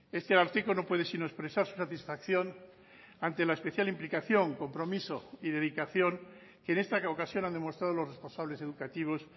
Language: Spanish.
este ararteko no puede sino expresar su satisfacción ante la especial implicación compromiso y dedicación que en esta ocasión han demostrado los responsables educativos